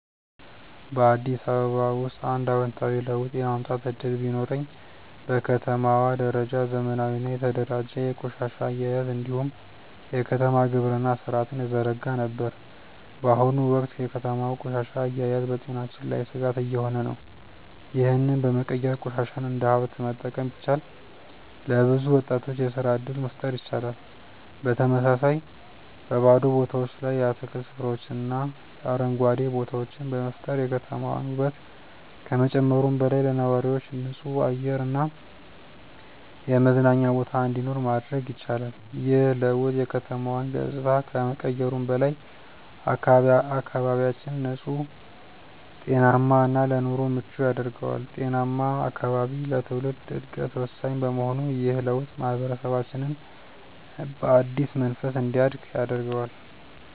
በአዲስ አበባ ውስጥ አንድ አዎንታዊ ለውጥ የማምጣት እድል ቢኖረኝ፣ በከተማዋ ደረጃ ዘመናዊና የተደራጀ የቆሻሻ አያያዝ እንዲሁም የከተማ ግብርና ሥርዓትን እዘረጋ ነበር። በአሁኑ ወቅት የከተማዋ ቆሻሻ አያያዝ በጤናችን ላይ ስጋት እየሆነ ነው፤ ይህንን በመቀየር ቆሻሻን እንደ ሀብት መጠቀም ቢቻል፣ ለብዙ ወጣቶች የስራ እድል መፍጠር ይቻላል። በተመሳሳይ፣ በባዶ ቦታዎች ላይ የአትክልት ስፍራዎችንና አረንጓዴ ቦታዎችን በመፍጠር የከተማዋን ውበት ከመጨመሩም በላይ፣ ለነዋሪዎች ንጹህ አየር እና የመዝናኛ ቦታ እንዲኖር ማድረግ እችላለሁ። ይህ ለውጥ የከተማዋን ገጽታ ከመቀየሩም በላይ፣ አካባቢያችንን ንጹህ፣ ጤናማ እና ለኑሮ ምቹ ያደርገዋል። ጤናማ አካባቢ ለትውልድ ዕድገት ወሳኝ በመሆኑ ይህ ለውጥ ማህበረሰባችንን በአዲስ መንፈስ እንዲያድግ ያደርገዋል።